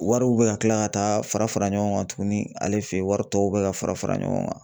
Wariw bɛ ka kila ka taa fara fara ɲɔgɔn kan tuguni ale fɛ yen wari tɔw bɛ ka fara fara ɲɔgɔn kan.